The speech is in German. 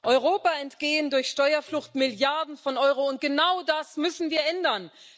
Europa entgehen durch Steuerflucht Milliarden von Euro, und genau das müssen wir ändern.